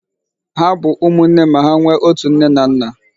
Ha bụ ụmụnne ma hà nwe ọtu nne na nna.